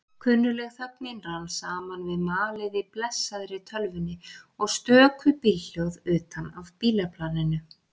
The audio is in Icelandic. Kunnugleg þögnin rann saman við malið í blessaðri tölvunni og stöku bílhljóð utan af bílaplaninu.